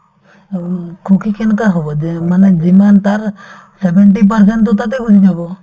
উম, সুখী কেনেকুৱা হব যে মানে যিমান তাৰ seventy percent তো তাতে গুচি যাব